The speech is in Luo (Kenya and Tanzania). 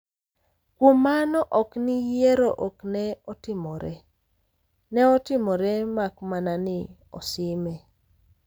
kuom mano ok ni yiero ok ne otimore, neotimore mak mana ni osime